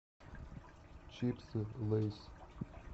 чипсы лейс